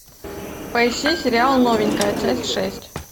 поищи сериал новенькая часть шесть